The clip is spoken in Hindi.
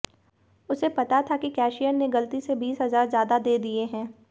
उसे पता था कि कैशियर ने गलती से बीस हजार ज्यादा दे दिए हैं